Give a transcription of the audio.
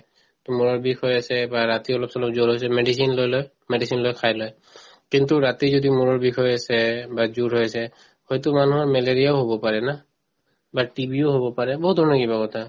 to মূৰৰ বিষ হৈ আছে বা ৰাতি অলপ-চলপ জ্বৰ হৈছে medicine লৈ লয় medicine লৈ খাই লয় কিন্তু ৰাতি যদি মূৰৰ বিষ হৈ আছে বা জ্বৰ হৈ আছে হয়তো মানুহৰ malaria ও হব পাৰে না বা TB ও হব পাৰে বহুত ধৰণৰ কিবা কথা